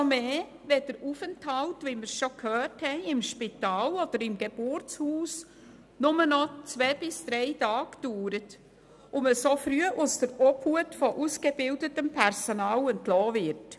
Umso mehr, wenn der Aufenthalt im Spital oder im Geburtshaus nur noch zwei bis drei Tage dauert und man so früh aus der Obhut von ausgebildetem Personal entlassen wird.